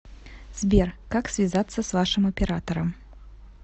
сбер как связаться с вашим оператором